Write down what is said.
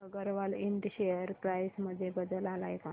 Agarwal Ind share price मध्ये बदल आलाय का